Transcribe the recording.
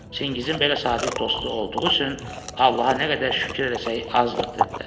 Çingizin belə sadiq dostu olduğu üçün Allaha nə qədər şükür eləsək azdır, dedilər.